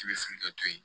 I bɛ sigi ka to yen